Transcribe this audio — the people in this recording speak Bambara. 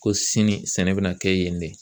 Ko sini sɛnɛ bɛna kɛ yen dɛ